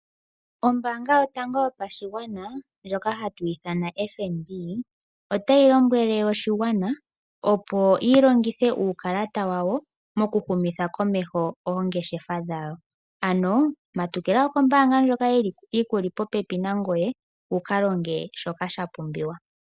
Ombaanga yotango yopashigwana ndjoka hatu ithana FNB, otayi lombwele oshigwana, opo shi longithe uukalata wawo mokuhumitha komeho oongeshefa dhawo. Ano, matukila kombaanga ndjoka yi ku li popepi nangoye wu ka longe shoka sha pumbiwa.